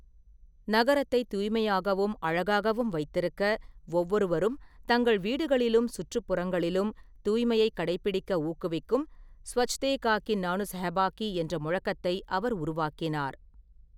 நகரத்தை தூய்மையாகவும், அழகாகவும் வைத்திருக்க ஒவ்வொருவரும் தங்கள் வீடுகளிலும், சுற்றுப்புறங்களிலும் தூய்மையை கடைப்பிடிக்க ஊக்குவிக்கும் 'ஸ்வச்தேகாகி நானு சஹபாகி' என்ற முழக்கத்தை அவர் உருவாக்கினார்.